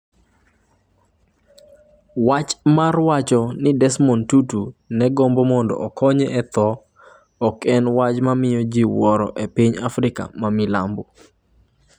Wach mar wacho ni Desmond Tutu ne gombo mondo okonye e tho ok en wach mamiyo ji wuoro e piny Afrika ma Milambo.